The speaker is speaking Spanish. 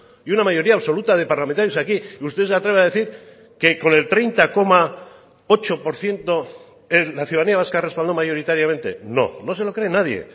y una mayoría absoluta de parlamentarios aquí y usted se atreve a decir que con el treinta coma ocho por ciento la ciudadanía vasca respaldó mayoritariamente no no se lo cree nadie